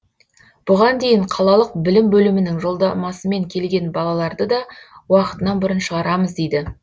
бұған дейін қалалық білім бөлімінің жолдамасымен келген балаларды да уақытынан бұрын шығарамыз дейді